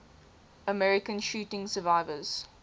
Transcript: american shooting survivors